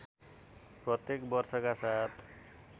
प्रत्येक वर्षका साथ